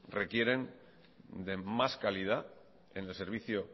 requieren de más calidad en el servicio